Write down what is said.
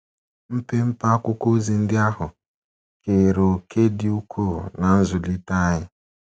Mpempe akwụkwọ ozi ndị ahụ keere òkè dị ukwuu ná nzụlite anyị. ”